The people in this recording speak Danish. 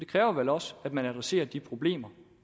kræver vel også at man adresserer de problemer